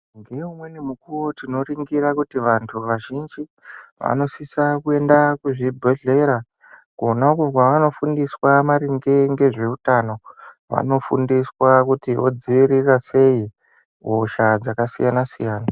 Ngoumweni mukuwo tinoringira kuti vantu vazhinji vanosisa kuenda kuzvibhedhlera kwonakwo kwavanofundiswa maringe ngezveutano vanofundiswa kuti vodzivirira sei hosha dzakasiyana-siyana.